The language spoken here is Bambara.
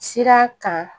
Sira kan